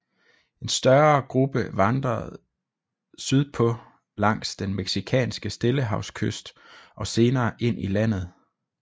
En større gruppe vandrede sydpå langs den mexikanske stillehavskyst og senere ind i landet